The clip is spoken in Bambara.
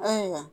Ayiwa